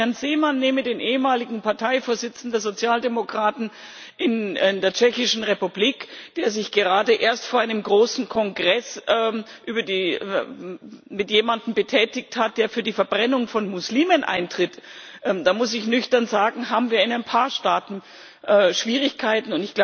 Wenn ich Herrn Zeman nehme, den ehemaligen Parteivorsitzenden der Sozialdemokraten in der Tschechischen Republik, der sich gerade erst vor einem großen Kongress mit jemandem betätigt hat, der für die Verbrennung von Muslimen eintritt, da das muss ich nüchtern sagen haben wir in ein paar Staaten Schwierigkeiten.